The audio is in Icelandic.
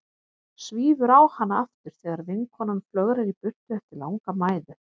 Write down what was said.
Svífur á hana aftur þegar vinkonan flögrar í burtu eftir langa mæðu.